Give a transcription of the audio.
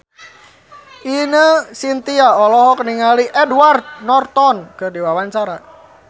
Ine Shintya olohok ningali Edward Norton keur diwawancara